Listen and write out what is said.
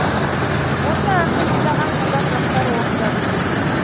осы әнді мыңдаған қазақ жастары орындап жүр